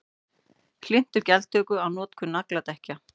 Hlynntur gjaldtöku á notkun nagladekkja